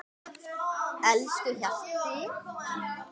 Elsku Hjalti.